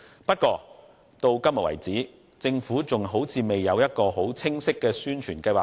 不過，到目前為止，政府似乎還未有清晰的宣傳計劃。